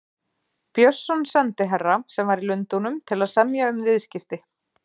Björnsson sendiherra, sem var í Lundúnum til að semja um viðskipti.